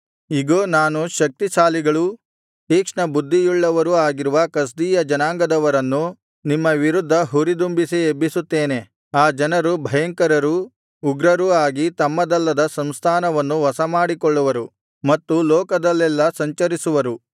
ಇಗೋ ನಾನು ಶಕ್ತಿಶಾಲಿಗಳೂ ತೀಕ್ಷ್ಣಬುದ್ಧಿಯುಳ್ಳವರೂ ಆಗಿರುವ ಕಸ್ದೀಯ ಜನಾಂಗದವರನ್ನು ನಿಮ್ಮ ವಿರುದ್ಧ ಹುರಿದುಂಬಿಸಿ ಎಬ್ಬಿಸುತ್ತೇನೆ ಆ ಜನರು ಭಯಂಕರರೂ ಉಗ್ರರೂ ಆಗಿ ತಮ್ಮದಲ್ಲದ ಸಂಸ್ಥಾನವನ್ನು ವಶಮಾಡಿಕೊಳ್ಳುವರು ಮತ್ತು ಲೋಕದಲ್ಲೆಲ್ಲಾ ಸಂಚರಿಸುವರು